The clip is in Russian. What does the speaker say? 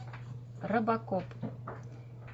робокоп